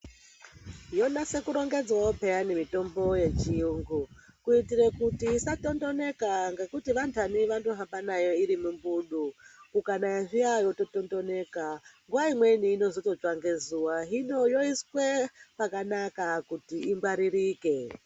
Yonase kurongedzwawo pheyani mitombo yechiyungu, kuitire kuti isatondoneka ngekuti vantani vanohamba nayo iri mumbudu, kukanayya zviya yotondononeka. Nguwa imweni inozototsva ngezuwa. Hino yoiswe pakanaka kuti ingwaririke.